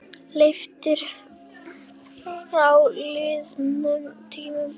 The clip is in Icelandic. Leiftur frá liðnum tíma.